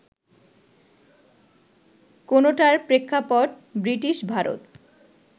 কোনোটার প্রেক্ষাপট ব্রিটিশ ভারত